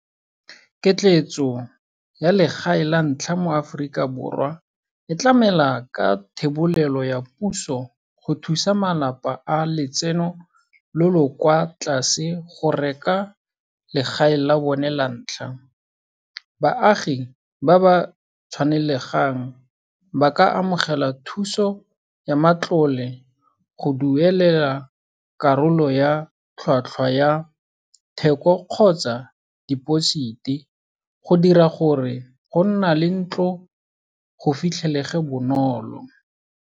Ketleetso ya legae la ntlha mo Aforika Borwa e tlamela ka thebolelo ya puso go thusa malapa a letseno lo lo kwa tlase go reka legae la bone la ntlha. Baagi ba ba tshwanelegang ba ka amogela thuso ya matlole, go duelela karolo ya tlhwatlhwa ya theko kgotsa deposit-e, go dira gore go nna le ntlo go fitlhelege bonolo.